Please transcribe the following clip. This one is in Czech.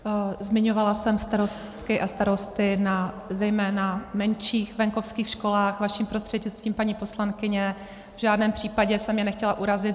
Zmiňovala jsem starostky a starosty na zejména menších venkovských školách, vaším prostřednictvím, paní poslankyně, v žádném případě jsem je nechtěla urazit.